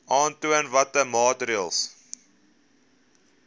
aantoon watter maatreëls